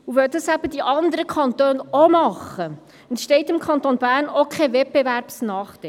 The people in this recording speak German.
Weil die anderen Kantone es auch tun, entstünde dem Kanton Bern kein Wettbewerbsnachteil.